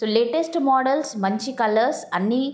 latest models మంచి colours అన్ని --